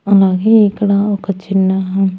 అలాగే ఇక్కడ ఒక చిన్న--